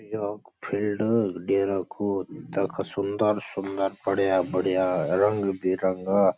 योक field डेरा कु तख सुन्दर सुन्दर बढ़िया बढ़िया रंग बिरंगा --